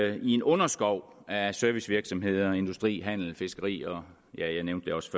i en underskov af servicevirksomheder industri handel fiskeri og ja jeg nævnte det også